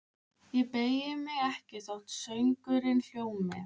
Ég beygi mig ekki þótt söngurinn hljómi: